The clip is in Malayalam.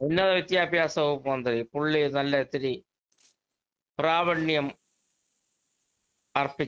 സ്പീക്കർ 2 ഉന്നത വിദ്യാഭ്യാസ വകുപ്പ് മന്ത്രി പുള്ളി നല്ല ഇത്തിരി പ്രാവിണ്യം അർപ്പിച്ച ഒരു ആളാണ്‌